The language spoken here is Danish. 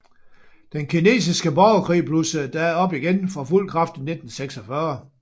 Den kinesiske borgerkrig blussede da op igen for fuld kraft i 1946